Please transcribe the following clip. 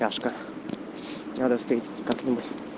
няшка надо встретиться как нибудь